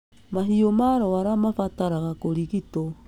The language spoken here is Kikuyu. Mahiũ marwara mabataraga kũrigitwo